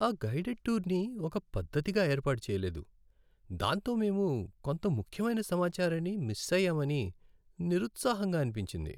ఆ గైడెడ్ టూర్ని ఒక పద్ధతిగా ఏర్పాటు చెయ్యలేదు, దాంతో మేము కొంత ముఖ్యమైన సమాచారాన్ని మిస్ అయ్యామని నిరుత్సాహంగా అనిపించింది.